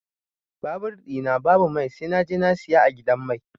Babur ɗi na babu mai sai naje na siya a gidan mai.